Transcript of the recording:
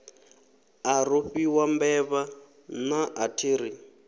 a rofhiwa mbevha naa athiri